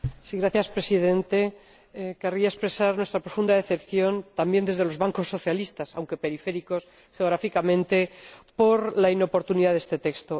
Señor Presidente, querría expresar nuestra profunda decepción, también desde los bancos socialistas aunque periféricos geográficamente por la inoportunidad de este texto.